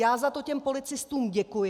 Já za to těm policistům děkuji.